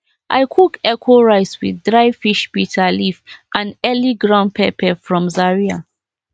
i cook echo rice with dry fish bitter leaf and early ground pepper from zaria